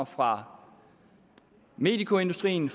fra medicoindustrien